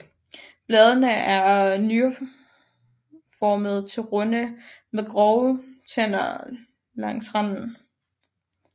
Bladene er nyreformede til runde med grove tænder langs randen